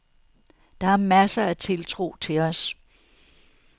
Der er masser af tiltro til os.